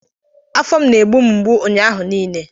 Afọ m na-egbu mgbu ụnyaahụ niile